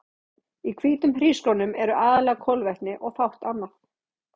Í hvítum hrísgrjónum eru aðallega kolvetni og fátt annað.